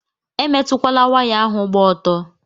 Emetụkwala waya ahụ gba ọtọ!